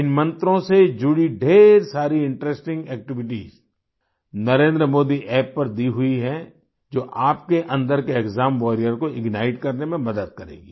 इन मंत्रों से जुड़ी ढ़ेर सारी इंटरेस्टिंग एक्टिविटीज नरेंद्रमोदी App पर दी हुई है जो आपके अंदर के एक्साम वारियर को इग्नाइट करने में मदद करेंगी